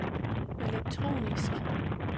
elektronisk